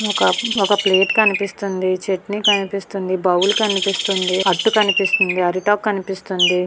ఒక ప్లేట్ కనిపిస్తుంది. చట్నీ కనిపిస్తుంది. బౌల్ కనిపిస్తుంది. అట్టు కనిపిస్తుంది. అరటిఆకు కనిపిస్తుంది.